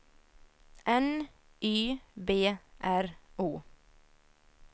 N Y B R O